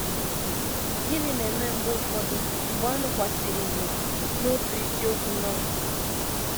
Gịnị na - eme mgbe ụfọdụ mgbe a mụkwasịrị ìhè n’otu isiokwu Novel?